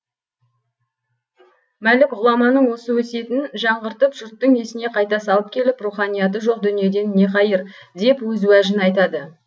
мәлік ғұламаның осы өсиетін жаңғыртып жұрттың есіне қайта салып келіп руханияты жоқ дүниеден не қайыр деп өз уәжін айтады